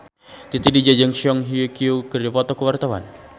Titi DJ jeung Song Hye Kyo keur dipoto ku wartawan